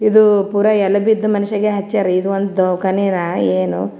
ಇದು ಪುರಾ ಎಲೆಬಿದ್ದ್ ಮಂಶಾಯಗ್ ಹಚ್ಚಾರ್ ಇದು ಒಂದು ಕನಿನಾ ಏನೋ.